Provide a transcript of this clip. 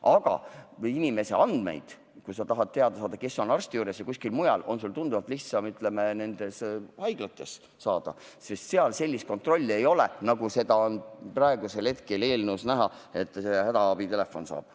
Aga kui sa tahad teada saada, kes on arsti juures ja kuskil mujal, siis selliseid andmeid on sul tunduvalt lihtsam saada haiglatest, sest seal sellist kontrolli ei ole, nagu seda on praegusel hetkel eelnõus näha hädaabitelefoni puhul.